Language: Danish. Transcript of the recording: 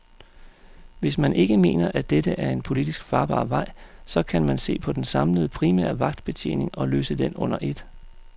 Hvis man ikke mener, at dette er en politisk farbar vej, så kan man se på den samlede primære vagtbetjening og løse den under et.